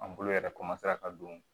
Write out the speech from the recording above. An bolo yɛrɛ ka don